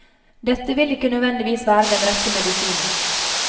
Dette vil ikke nødvendigvis være den rette medisinen.